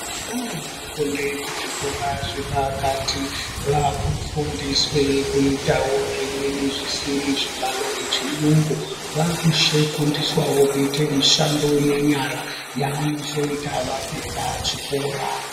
Vana vanofunde pazvikora zvepakati vakufundiswe kuitawo zvimweni zvisiri zvibalo nechiyungu. Vakufundishawo kuite mishando yenyara yavanozoita vapedza chikora.